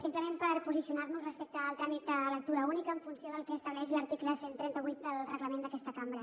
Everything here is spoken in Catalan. simplement per posicionar nos respecte al tràmit de lectura única en funció del que estableix l’article cent i trenta vuit del reglament d’aquesta cambra